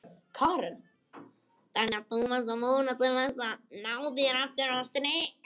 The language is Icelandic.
Karen: Þannig að þú vonast til þess að ná þér aftur á strik?